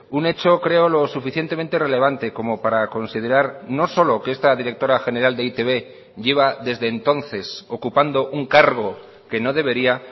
un hecho creo lo suficientemente relevante como para considerar no solo que esta directora general de e i te be lleva desde entonces ocupando un cargo que no debería